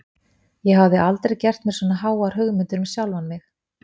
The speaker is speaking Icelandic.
Ég hafði aldrei gert mér svona háar hugmyndir um sjálfan mig.